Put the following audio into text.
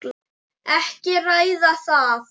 Ekki að ræða það.